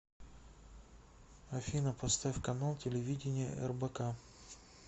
афина поставь канал телевидения рбк